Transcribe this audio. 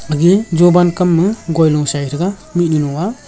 agey jowan kam ma guilung sai thega mihnyu dlung nga.